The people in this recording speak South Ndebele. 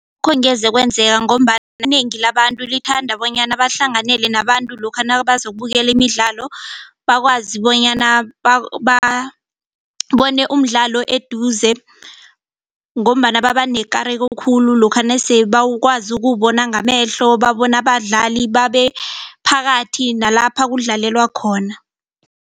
Angeze kwenzeka ngombana inengi labantu lithanda bonyana bahlanganele nabantu lokha bazokubukela imidlalo bakwazi bonyana babone umdlalo eduze ngombana baba nekareko khulu lokha nasebakwazi ukuwubona ngamehlo babona abadlali babe phakathi nalapha kudlalelwa khona.